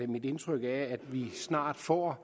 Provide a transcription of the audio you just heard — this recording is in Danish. mit indtryk at vi snart får